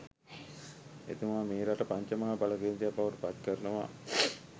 එතුමා මේ රට පංච මහා බල කේන්ද්‍රයක් බවට පත් කරනවා